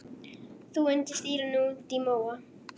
Þú undir stýri út í móa.